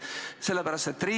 Urmas Espenberg, palun!